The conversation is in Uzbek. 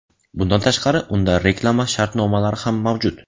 Bundan tashqari unda reklama shartnomalari ham mavjud.